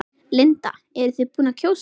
Linda: Eruð þið búin að kjósa?